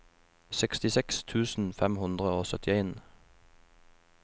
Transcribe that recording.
sekstiseks tusen fem hundre og syttien